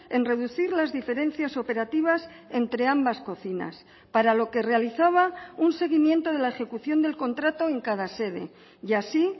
en reducir las diferencias operativas entre ambas cocinas para lo que realizaba un seguimiento de la ejecución del contrato en cada sede y así